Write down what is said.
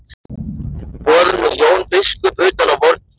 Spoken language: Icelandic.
Boðum nú Jón biskup utan á vorn fund.